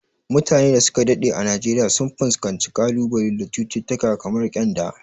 Mutanen da su ka daɗe a Najeriya sun fuskanci kalubale da cututtuka kamar kyanda.